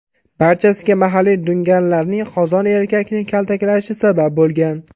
Barchasiga mahalliy dunganlarning qozoq erkakni kaltaklashi sabab bo‘lgan.